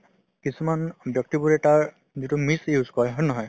কিছুমান ব্যক্তিবোৰে তাৰ যিটো misuse কৰে হয় নে নহয় ।